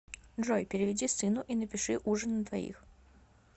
джой переведи сыну и напиши ужин на двоих